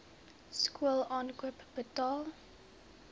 skool aankoop betaal